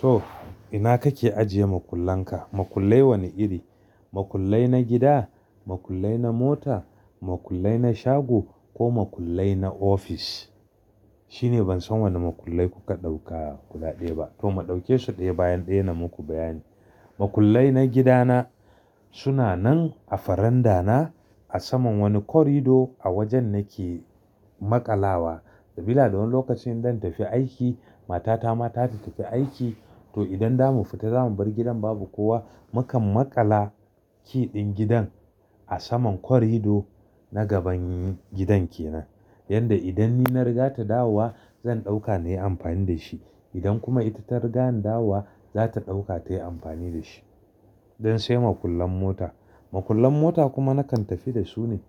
To ina kake ajiye makullan ka? Makullai wane iri? Makullai na gida, makullai na mota, makullai na shago ko makullai na ofis? Shine ban san wane makullai kuka dauka guda ɗaya ba. To mu ɗauke su ɗaya bayan ɗaya na muku bayani. Makullai na gidana suna nan a farandana a saman wani corridor a wajen nake maƙalawa. Sabila da wani lokacin in zan tafi aiki, matata ma za ta tafi aiki to idan za mu fita za mu bar gidan babu kowa, mukan maƙala key ɗin gidan a saman corridor na gaban gidan ke nan. Yanda idan ni na riga ta dawowa zan ɗauka na yi amfani da shi. Idan kuma ita ta riga an dawowa za ta ɗauka ta yi amfani da shi. Don sai makullan mota. Makullan mota kuma nakan tafi da su ne.